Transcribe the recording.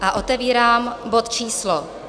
A otevírám bod číslo